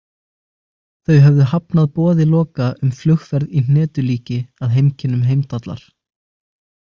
Þau höfðu hafnað boði Loka um flugferð í hnetulíki að heimkynnum Heimdallar.